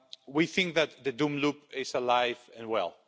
We think that the doom loop' is alive and well.